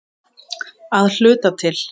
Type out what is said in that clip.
Að hluta til.